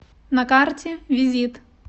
на карте визит